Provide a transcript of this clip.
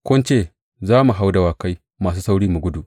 Kun ce, Za mu hau dawakai masu sauri mu gudu.’